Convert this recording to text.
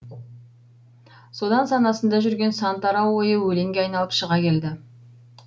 содан санасында жүрген сан тарау ойы өлеңге айналып шыға келді